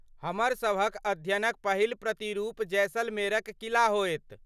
हमर सभक अध्ययनक पहिल प्रतिरूप जैसलमेरक किला होयत।